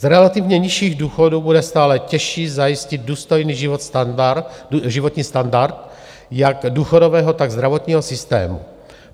Z relativně nižších důchodů bude stále těžší zajistit důstojný životní standard jak důchodového, tak zdravotního systému.